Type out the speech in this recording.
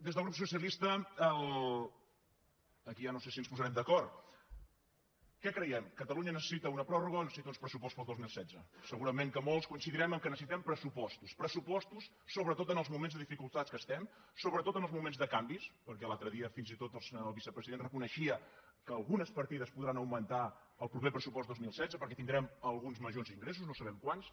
des del grup socialista aquí ja no sé si ens posarem d’acord què creiem catalunya necessita una pròrroga o necessita uns pressupostos pel dos mil setze segurament que molts coincidirem que necessitem pressupostos pressupostos sobretot en els moments de dificultat en què estem sobretot en els moments de canvis perquè l’altre dia fins i tot el vicepresident reconeixia que algunes partides podran augmentar el proper pressupost dos mil setze perquè tindrem alguns majors ingressos no sabem quants